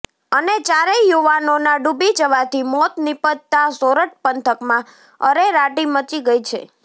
અને ચારેય યુવાનોના ડુબી જવાથી મોત નીપજતા સોરઠ પંથકમાં અરેરાટી મચી ગઈ છે